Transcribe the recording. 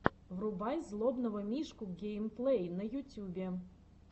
врубай злобного мишку геймплей на ютюбе